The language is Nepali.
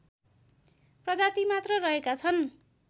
प्रजाति मात्र रहेका छन्